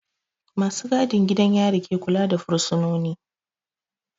Ma su gadin gidan yari ke kula da fursunoni